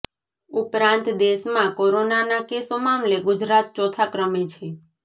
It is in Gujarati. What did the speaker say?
ઉપરાંત દેશમાં કોરોનાના કેસો મામલે ગુજરાત ચોથા ક્રમે છે